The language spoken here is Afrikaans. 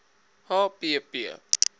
h p p